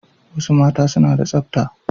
Wasu mata suna da tsabta